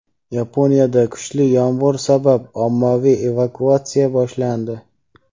Yaponiyada kuchli yomg‘ir sabab ommaviy evakuatsiya boshlandi.